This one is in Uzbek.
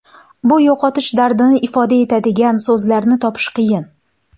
Bu yo‘qotish dardini ifoda etadigan so‘zlarni topish qiyin.